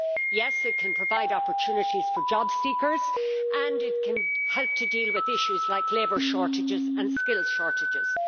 Yes, it can provide opportunities for job seekers and it can help to deal with issues like labour shortages and skills shortages.